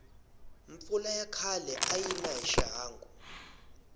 mpfula ya khale ayina hi xihangu